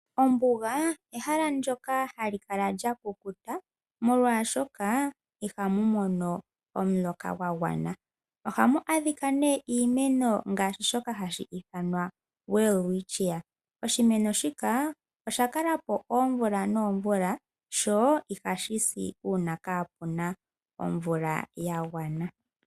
Ombuga ehala ndyoka hali kala lyakukuta molwashoka ihamu mono omuloka gwagwana, ohamu adhika ne iimeno ngaashi shoka hashi ithanwa Welwitchia oshimeno shika osha kala po oomvula noomvula sho iha shisi una kaapuna omvula yagwana.